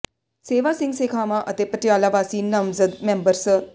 ਸੇਵਾ ਸਿੰਘ ਸੇਖਵਾਂ ਅਤੇ ਪਟਿਆਲਾ ਵਾਸੀ ਨਾਮਜ਼ਦ ਮੈਂਬਰ ਸ